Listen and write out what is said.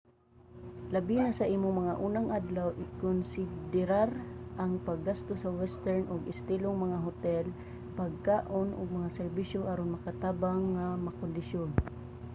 labi na sa imong mga unang adlaw ikonsiderar ang paggasto sa western og estilong mga hotel pagkaon ug mga serbisyo aron makatabang nga makondisyon